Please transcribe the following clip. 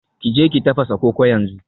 Ki je ki tafasa koko yanzu